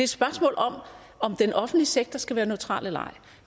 spørgsmål om om den offentlige sektor skal være neutral eller ej